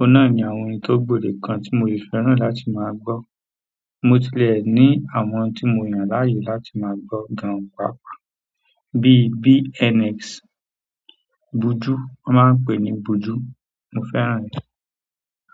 ọ̀hun na ni àwọn orin tó gbòdekan tí mo si fẹ́ràn láti máa gbọ́. Mo tilẹ̀ ní àwọn tí mo yàn láàyò láti máa gbo gan pàápàá bíi BNX, Buju, wọ́n máa ń pè ní Buju, mo fẹ́ràn rẹ̀.